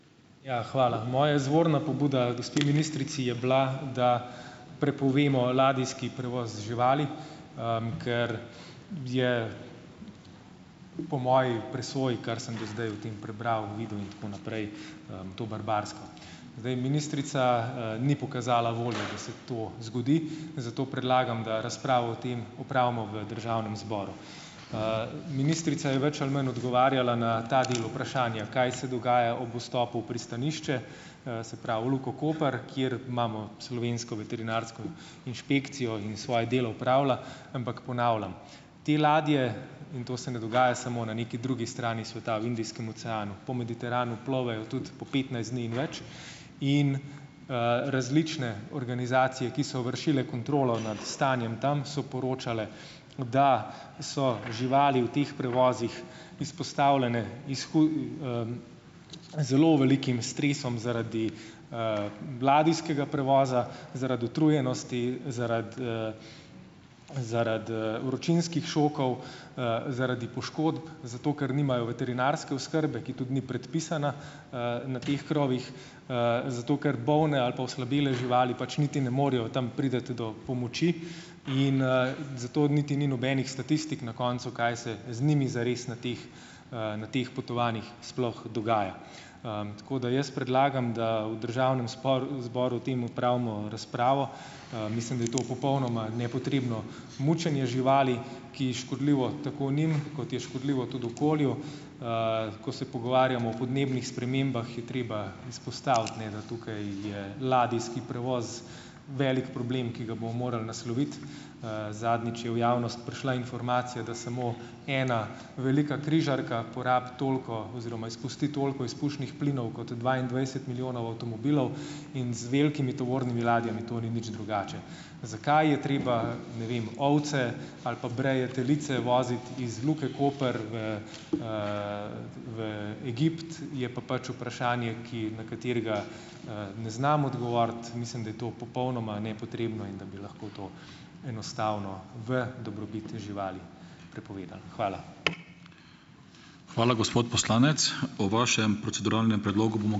Ja, hvala. Moja izvorna pobuda gospe ministrici je bila, da prepovemo ladijski prevoz živali, ker je, po moji presoji, kar sem do zdaj o tem prebral, videl in tako naprej, to barbarsko. Zdaj, ministrica, ni pokazala volje, da se to zgodi. Zato predlagam, da razpravo o tem opravimo v državnem zboru. Ministrica je več ali manj odgovarjala na ta del vprašanja, kaj se dogaja ob vstopu v pristanišče, se pravi v Luko Koper, kjer imamo slovensko veterinarsko inšpekcijo in svoje delo opravlja. Ampak ponavljam, te ladje, in to se ne dogaja samo na neki drugi strani sveta, v Indijskem oceanu, po Mediteranu plovejo tudi po petnajst dni in več in, različne organizacije, ki so vršile kontrolo nad stanjem tam, so poročale, da so živali v teh prevozih izpostavljene iz zelo velikim stresom zaradi, ladijskega prevoza, zaradi utrujenosti, zaradi, zaradi, vročinskih šokov, zaradi poškodb, zato ker nimajo veterinarske oskrbe, ki tudi ni predpisana, na teh krovih, zato ker bolne ali pa oslabele živali pač niti ne morejo tam priti do pomoči. In, zato niti ni nobenih statistik na koncu, kaj se z nimi zares na teh, na teh potovanjih sploh dogaja. Tako da jaz predlagam, da v državnem spor zboru o tem opravimo razpravo. Mislim, da je to popolnoma nepotrebno mučenje živali, ki škodljivo tako njim, kot je škodljivo tudi okolju. Ko se pogovarjamo o podnebnih spremembah, je treba izpostaviti, ne, da tukaj je ladijski prevoz velik problem, ki ga bomo morali nasloviti. Zadnjič je v javnost prišla informacija, da samo ena velika križarka porabi toliko oziroma izpusti toliko izpušnih plinov kot dvaindvajset milijonov avtomobilov. In z velikimi tovornimi ladjami to ni nič drugače. Zakaj je treba, ne vem, ovce ali pa breje telice voziti iz Luke Koper v, v Egipt je pa pač vprašanje, ki na katerega, ne znam odgovoriti. Mislim, da je to popolnoma nepotrebno in da bi lahko to enostavno v dobrobit živali prepovedali. Hvala.